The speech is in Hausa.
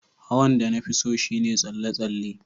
Hawan da na fi so shine tsalle-tsalle.